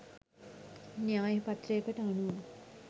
න්‍යාය පත්‍රයකට අනුව